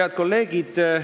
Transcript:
Head kolleegid!